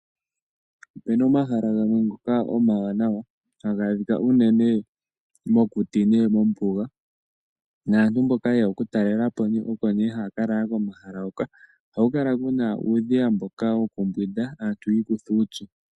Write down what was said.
Ope na omahala gamwe ngoka omawanawa haga adhika uunene mokuti nenge mombuga naantu mboka yeya okutalelapo oko ne haya lala komahala ngoka. Ohaku kala uudhiya mboka wokumbwinda ta ikutha uupyu.